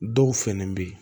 Dɔw fɛnɛ be ye